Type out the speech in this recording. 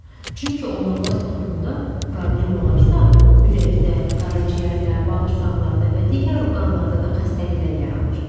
Çünki onurğa sütununda problem olarsa, ürəkdə, qaraciyərdə, bağırsaqlarda və digər orqanlarda da xəstəliklər yaranır.